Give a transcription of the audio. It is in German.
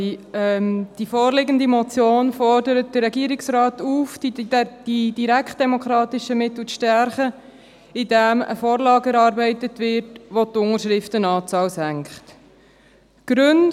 Die vorliegende Motion fordert den Regierungsrat auf, die direktdemokratischen Mittel zu stärken, indem eine Vorlage erarbeitet wird, wodurch die Unterschriftenanzahl gesenkt wird.